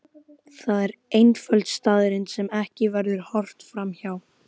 Það er einföld staðreynd sem ekki verður horft fram hjá.